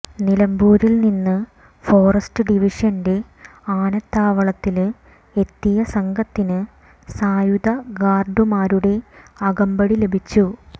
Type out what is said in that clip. നിലമ്പൂരില്നിന്ന് forest ഡിവിഷന്റെ ആനത്താവളത്തില് എത്തിയ സംഘത്തിന് സായുധ ഗാര്ഡുമാരുടെ അകമ്പടി ലഭിച്ചു